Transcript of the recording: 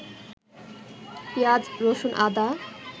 পিঁয়াজ, রসুন, আদা